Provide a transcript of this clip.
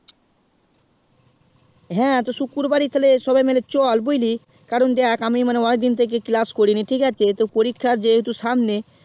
হ্যাঁ শুকুরবারে সবাই মিলে চল বুঝলি কারণ দেখ আমি মানে অনেক দিন থেকে class করিনি ঠিক আছে পরীক্ষা যেহুতো সামনে